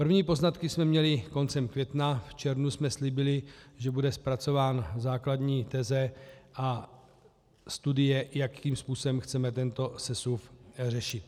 První poznatky jsme měli koncem května, v červnu jsme slíbili, že bude zpracována základní teze a studie, jakým způsobem chceme tento sesuv řešit.